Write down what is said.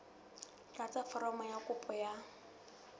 tlatsa foromo ya kopo ya